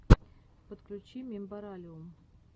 подключи мембералиум